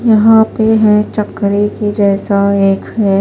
यहां पे हैचक्री के जैसा एक है --